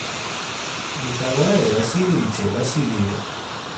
николае васильевиче васильеве